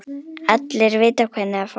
Allir vita hvernig það fór.